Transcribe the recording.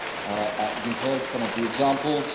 We have heard some of the examples.